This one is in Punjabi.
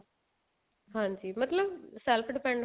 ਹਾਂਜੀ ਮਤਲਬ self depend